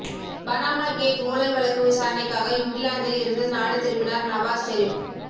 Panama gate ஊழல் வழக்கு விசாரணைக்காக இங்கிலாந்தில் இருந்து நாடு திரும்பினார் நவாஸ் ஷெரீப்